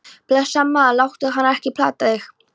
Blessaður, maður, láttu hana ekki plata þig.